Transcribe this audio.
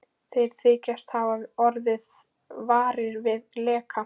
Þeir þykjast hafa orðið varir við leka